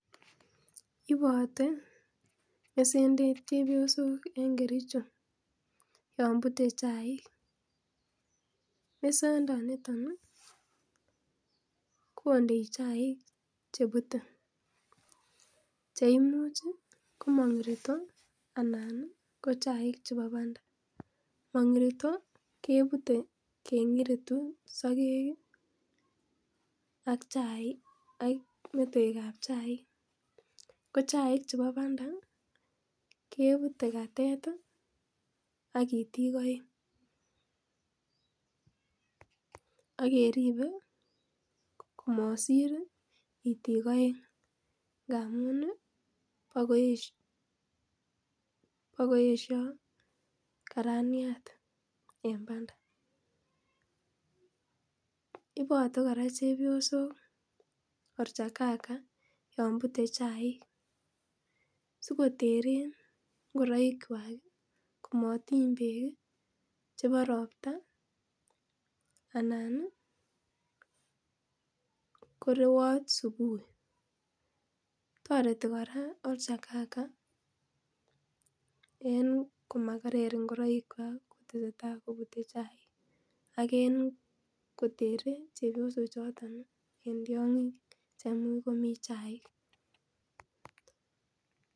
Ibote mesendet chepyosok en kericho yon bute chaik ,mesendoniton ii kondei chaik chebute cheimuch ii komang'irito anan ko chaik chebo bandaa, mong'irito kebute keng'iritu soke ak chaik ak mtoekab chaik ko chaik che bo bandaa kebute katet ii ak iitik aeng akeripe komosir iitik aeng ngamun ii bokoesio karaniat en bandaa, ibote kora chepyosok oljarkaka yon bure chaik sikoteren ngoraikwak komotiny beek ii chebo roptaa anaa ko rewot subuhi ,toreti kora oljarkaka komakerer ngoraikwak kotesetai kobute chaik ak en koteren chebiosochoton ii en tiong'ik chemuch komii chaik.